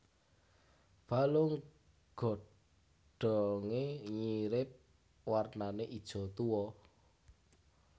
Balung godhonge nyirip warnane ijo tuwa